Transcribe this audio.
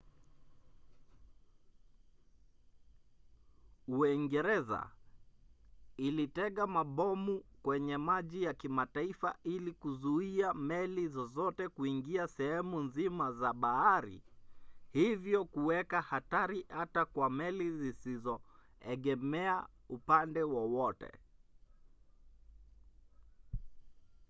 uingereza ilitega mabomu kwenye maji ya kimataifa ili kuzuia meli zozote kuingia sehemu nzima za bahari hivyo kuweka hatari hata kwa meli zisizoegemea upande wowote